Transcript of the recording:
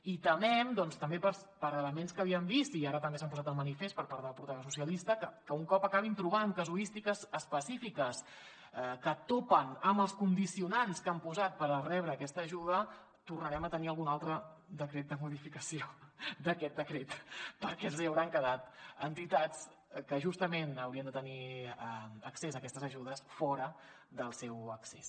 i temem doncs també per elements que havíem vist i ara també s’han posat de manifest per part del portaveu socialista que un cop acabin trobant casuístiques específiques que topen amb els condicionants que han posat per rebre aquesta ajuda tornarem a tenir algun altre decret de modificació d’aquest decret perquè els hauran quedat entitats que justament haurien de tenir accés a aquestes ajudes fora del seu accés